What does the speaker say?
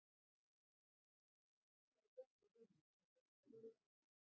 Hann er ofsalega góður við mig þegar við erum tvö ein.